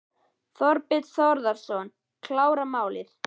Þorbjörn Þórðarson: Klára málið?